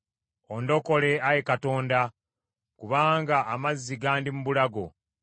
Ondokole, Ayi Katonda, kubanga amazzi gandi mu bulago.